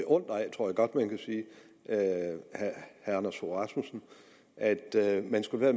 tror jeg godt man kan sige herre anders fogh rasmussen at man skulle være